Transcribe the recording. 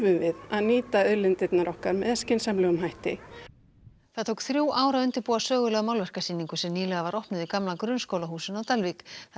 við að nýta auðlindirnar með skynsamlegum hætti það tók þrjú ár að undirbúa sögulega málverkasýningu sem nýlega var opnuð í gamla grunnskólahúsinu á Dalvík þar